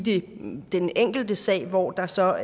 den enkelte sag hvor der så